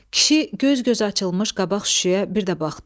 Kişi göz-göz açılmış qabaq şüşəyə bir də baxdı.